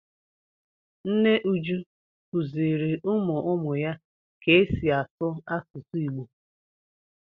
Nne Uju kuziri ụmụ ụmụ ya ka esi asụ asusu Igbo.